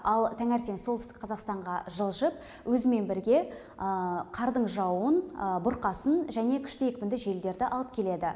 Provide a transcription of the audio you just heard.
ал таңертең солтүстік қазақстанға жылжып өзімен бірге қардың жаууын бұрқасын және күшті екпінді желдерді алып келеді